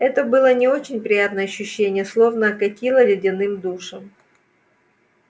это было не очень приятное ощущение словно окатило ледяным душем